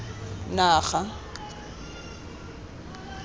naga